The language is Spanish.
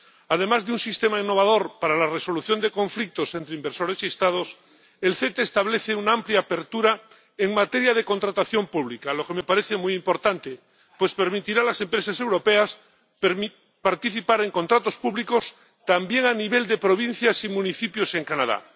Además de un sistema innovador para la resolución de conflictos entre inversores y Estados, el CETA establece una amplia apertura en materia de contratación pública, lo que me parece muy importante, pues permitirá a las empresas europeas participar en contratos públicos también a nivel de provincias y municipios en Canadá.